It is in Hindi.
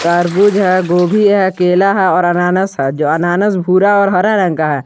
तरबूज है गोभी है केला है और अनानस है जो अनानस भूरा और हरा रंग का।